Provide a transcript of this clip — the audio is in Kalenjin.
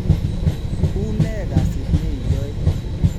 Unee kasit neiyoe?